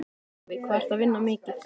Sölvi: Hvað ertu að vinna mikið?